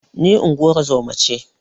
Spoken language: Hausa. Ni ingozuma ce